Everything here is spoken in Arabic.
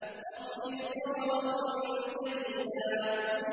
فَاصْبِرْ صَبْرًا جَمِيلًا